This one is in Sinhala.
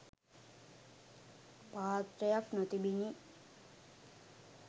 පාත්‍රයක් නොතිබුණි.